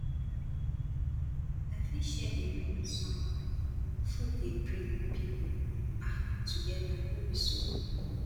i fit share a meal with someone food dey bring pipo um together no be so